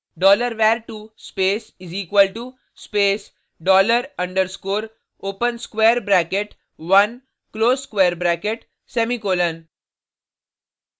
$var2 space = space dollar underscrore open square bracket one close square bracket semicolon